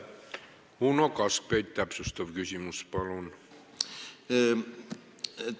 Uno Kaskpeit, täpsustav küsimus, palun!